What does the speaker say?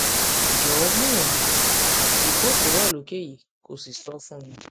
jọwọ gbìyànjú ìdìpọ tó wà lókè yìí kó o sì sọ fún mi